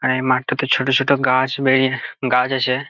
আর এই মাঠটাতে ছোট ছোট গাছ বেরিয়ে গাছ আছে ।